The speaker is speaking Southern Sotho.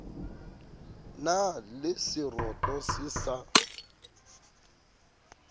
na le seroto se sa